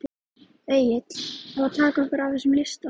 Egill: Að taka okkur af þessum lista?